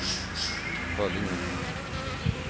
Föllinge